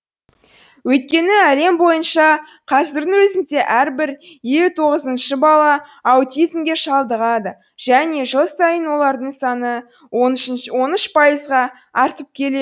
өйткені әлем бойынша қазірдің өзінде әрбір елу тоғызыншы бала аутизмге шалдығады және жыл сайын олардың саны он үш пайызға артып келе